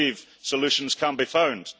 I believe solutions can be found.